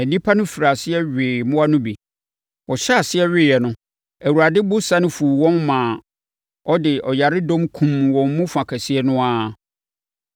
Na nnipa no firii aseɛ wee mmoa no bi. Wɔhyɛɛ aseɛ weeɛ no, Awurade bo sane fuu wɔn maa ɔde ɔyaredɔm kumm wɔn mu fa kɛseɛ no ara.